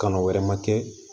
Kan'o wɛrɛ ma kɛ